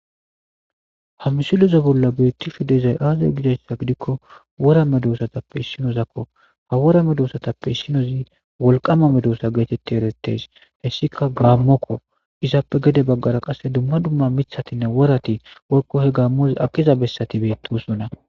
ha msileza bolla beetti shu dezay aazay gidasha gidikko wora medosatappe issinozakko ha wora medossatappe issinozi wolqama medossa geetetti eretes hessika gaammokko izappe gede baggara qasse dumma dumma mithatinne worati worko he gaammoz aqiza bessati beettosona